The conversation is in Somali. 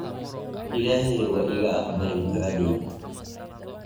Illahey waika aqbale ducadeydha.